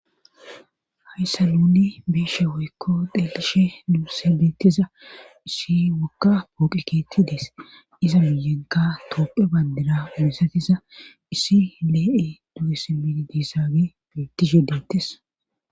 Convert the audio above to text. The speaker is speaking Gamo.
Hayssa nuuni beeshe woykko deqishe luu sebettiza issi waka pooqiketidees iza muyegga toope bandira obessatiza issi lee7e du7e semidi diissaage beitti shedettes.